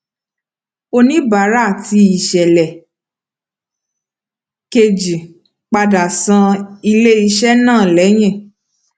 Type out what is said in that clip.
oníbàárà ti ìṣẹlẹ kejì padà san ilé iṣé náà lẹyìn